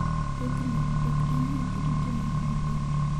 Thothne, ok en ni ji duto neno maber.